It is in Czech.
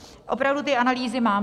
Opravdu ty analýzy mám.